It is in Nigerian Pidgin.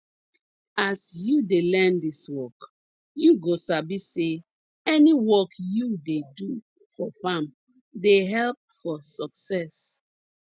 as you dey learn dis work you go sabi say any work you dey do for farm dey help for success